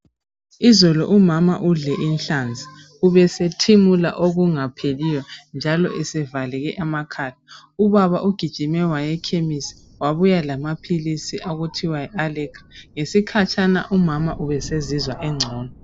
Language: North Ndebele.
Izolo umama udle inhlanzi ubesethimula okungapheliyo njalo esevaleke amakhala. Ubaba ugijime waya emakhemisi wabuya lamaphilisi okuthiwa yi allegra ngesikhatshana umama ubesezizwa esengcono.